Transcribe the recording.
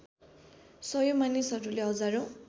सयौँ मानिसहरूले हजारौँ